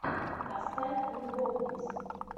поставь любовниц